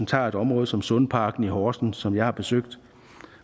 tager et område som sundparken i horsens som jeg har besøgt